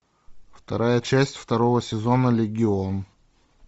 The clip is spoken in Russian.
вторая часть второго сезона легион